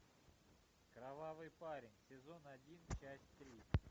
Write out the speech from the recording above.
кровавый парень сезон один часть три